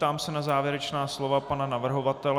Ptám se na závěrečná slova pana navrhovatele.